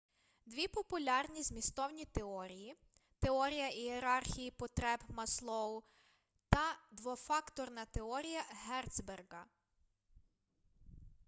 дві популярні змістовні теорії теорія ієрархії потреб маслоу та двофакторна теорія герцберґа